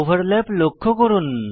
overlap লক্ষ্য করুন